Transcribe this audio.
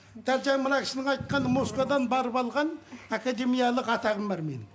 дәл жаңа мына кісінің айтқан москвадан барып алған академиялық атағым бар менің